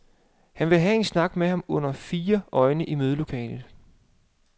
Han ville have en snak med ham under fire øjne i mødelokalet.